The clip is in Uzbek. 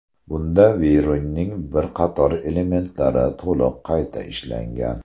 Bunda Veyron’ning bir qator elementlari to‘liq qayta ishlangan.